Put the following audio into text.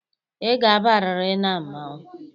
Ị ga-abarịrị na mmọnwụ.